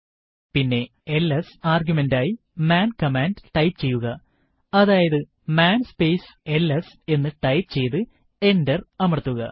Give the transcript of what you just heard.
പിന്നെ എൽഎസ് ആർഗ്യുമെന്റായി man command type ചെയ്യുകഅതായതു മാൻ സ്പേസ് എൽഎസ് എന്ന് ടൈപ്പ് ചെയ്തു എന്റർ അമർത്തുക